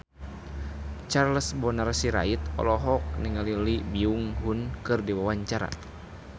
Charles Bonar Sirait olohok ningali Lee Byung Hun keur diwawancara